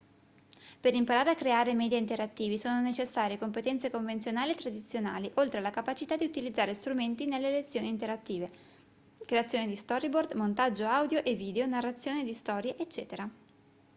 per imparare a creare media interattivi sono necessarie competenze convenzionali e tradizionali oltre alla capacità di utilizzare strumenti nelle lezioni interattive creazione di storyboard montaggio audio e video narrazione di storie ecc.